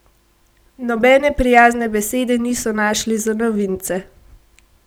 Nobene prijazne besede niso našli za novince.